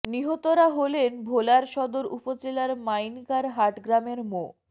নিহতরা হলেন ভোলার সদর উপজেলার মাইনকার হাট গ্রামের মো